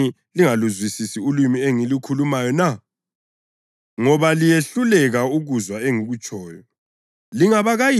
Kungani lingaluzwisisi ulimi engilukhulumayo na? Ngoba liyehluleka ukuzwa engikutshoyo.